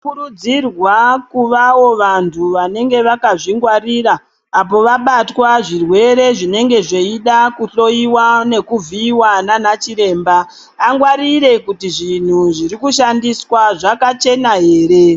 Tinokurudzirwa kuvawo vantu vanenge vakazvingwarira apo vabatwa zvirwere zvinenge zveida kuhloyiwa nekuvhiyiwa nanachiremba angwarire kuti zvinhu zviri kushandiswa zvakachena ere.